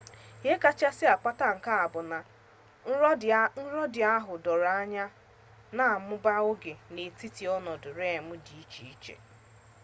ihe kachasị akpata nke a bụ na nrọ ndị ahụ doro anya na-amụba oge dị n'etiti ọnọdụ rem dị iche iche